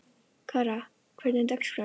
Kara, hvernig er dagskráin?